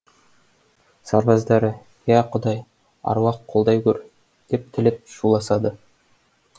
сарбаздары иә құдай аруақ қолдай гөр деп тілеп шуласады